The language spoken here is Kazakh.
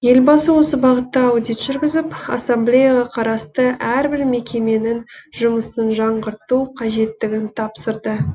елбасы осы бағытта аудит жүргізіп ассамблеяға қарасты әрбір мекеменің жұмысын жаңғырту қажеттігін тапсырды